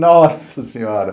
Nossa Senhora!